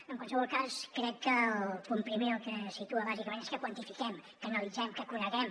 en qualsevol cas crec que el punt primer el que situa bàsicament és que quantifiquem que analitzem que coneguem